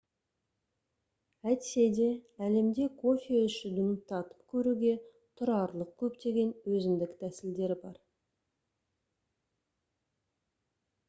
әйтсе де әлемде кофе ішудің татып көруге тұрарлық көптеген өзіндік тәсілдері бар